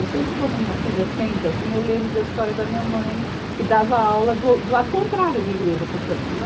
Eu sempre, quando minha filha senta assim, eu lembro da história da minha mãe, que dava aula do ou, do lado contrário da igreja, portanto, né?